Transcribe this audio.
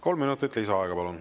Kolm minutut lisaaega, palun.